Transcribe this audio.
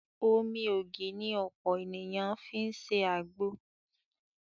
Omi ògì ni ọ̀pọ̀ ènìyàn fi ń ṣe àgbo